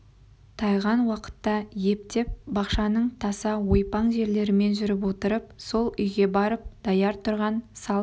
тайған уақытта ептеп бақшаның таса ойпаң жерлерімен жүріп отырып сол үйге барып даяр тұрған салт